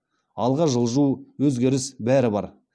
алға жылжу өзгеріс бәрі бар